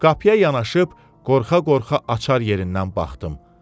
Qapıya yanaşıb, qorxa-qorxa açar yerindən baxdım.